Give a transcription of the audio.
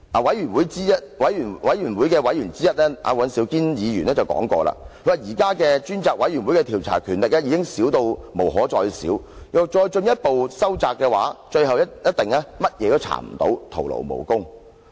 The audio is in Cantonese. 專責委員會委員尹兆堅議員說過："現時專責委員會的調查權力已少得不能再少，若再進一步收窄，最後一定甚麼都查不到，徒勞無功。